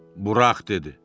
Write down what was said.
Burax, dedi.